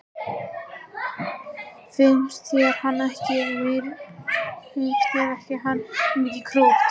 Finnst þér hann ekki mikið krútt?